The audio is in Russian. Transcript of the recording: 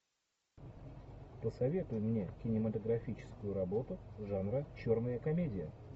посоветуй мне кинематографическую работу жанра черная комедия